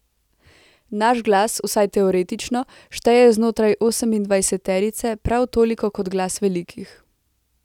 Naš glas, vsaj teoretično, šteje znotraj osemindvajseterice prav toliko kot glas velikih.